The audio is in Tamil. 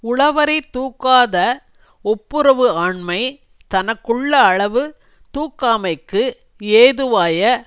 உள வரை தூக்காத ஒப்புரவு ஆண்மை தனக்குள்ள அளவு தூக்காமைக்கு ஏதுவாய